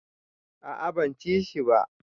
A a ban ci shi ba.